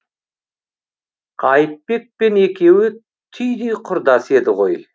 қайыпбек пен екеуі түйдей құрдас еді ғой